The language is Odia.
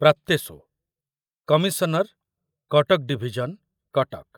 ପ୍ରାପ୍ତେଷୁ, କମିଶନର, କଟକ ଡିଭିଜନ, କଟକ